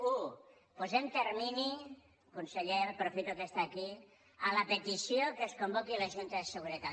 u posem termini conseller aprofito que està aquí a la petició que es convoqui la junta de seguretat